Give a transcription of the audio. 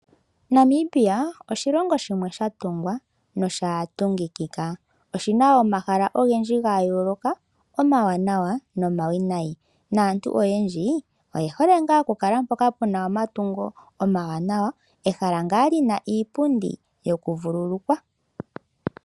Namibia oshilongo shimwe shatungwa nosha tungikika. Oshina omahala ogendji ga yooloka omawanawa nomawinayi. Naantu oyendji oye hole ngaa okukala mpoka puna omatungo omawanawa, ehala ngaa lina iipundi yokuvululukwa